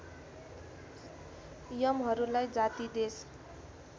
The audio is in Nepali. यमहरूलाई जाति देश